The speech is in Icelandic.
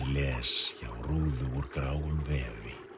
les hjá rúðu úr gráum vefi